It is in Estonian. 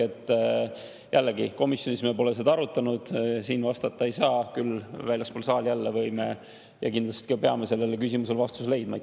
Ehk jällegi, komisjonis me pole seda arutanud, siin ma vastata ei saa, küll võime väljaspool saali – ja kindlasti isegi peame – sellele küsimusele vastuse leidma.